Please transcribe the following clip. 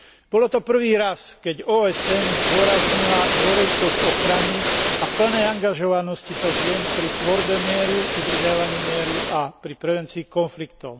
Bolo to prvý raz, keď OSN zdôraznila dôležitosť ochrany a plnej angažovanosti sa žien pri tvorbe mieru, udržiavaní mieru a pri prevencii konfliktov.